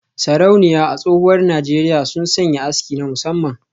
Sarauniya a tsohuwar Najeriya sun sanya aski na musamman